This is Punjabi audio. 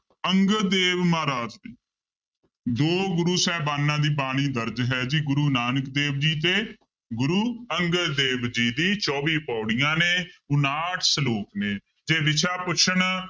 ਅੰਗਦ ਦੇਵ ਮਹਾਰਾਜ ਦੋ ਗੁਰੂ ਸਾਹਿਬਾਨਾਂ ਦੀ ਬਾਣੀ ਦਰਜ਼ ਹੈ ਜੀ ਗੁਰੂ ਨਾਨਕ ਦੇਵ ਜੀ ਤੇ ਗੁਰੂ ਅੰਗਦ ਦੇਵ ਜੀ ਦੀ ਚੌਵੀ ਪਾਉੜੀਆਂ ਨੇ, ਉਣਾਹਠ ਸਲੋਕ ਨੇ ਜੇ ਵਿਸ਼ਾ ਪੁੱਛਣ